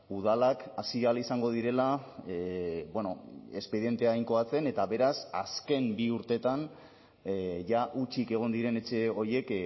udalak hasi ahal izango direla expedientea inkoatzen eta beraz azken bi urteetan jada hutsik egon diren etxe horiek